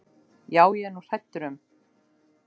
Já, það er ég nú hræddur um.